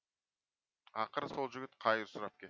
ақыры сол жігіт қайыр сұрап кетті